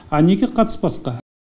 а неге қатыспасқа